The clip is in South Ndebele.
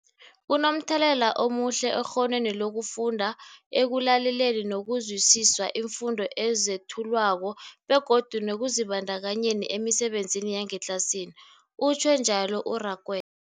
Kunomthelela omuhle ekghonweni lokufunda, ekulaleleni nokuzwisiswa iimfundo ezethulwako begodu nekuzibandakanyeni emisebenzini yangetlasini, utjhwe njalo u-Rakwe